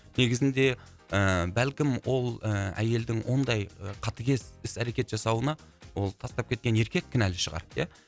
негізінде ііі бәлкім ол ііі әйелдің ондай қатыгез іс әрекет жасауына ол тастап кеткен еркек кінәлі шығар ия